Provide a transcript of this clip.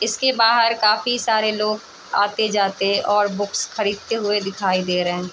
इसके बाहर काफी सारे लोग आते-जाते और बुक्स खरीदते हुए दिखाई दे रहे है।